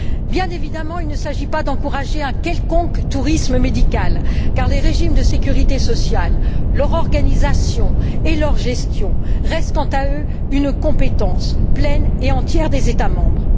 Bien évidemment, il ne s'agit pas d'encourager un quelconque tourisme médical car les régimes de sécurité sociale, leur organisation et leur gestion restent, quant à eux, une compétence pleine et entière des États membres.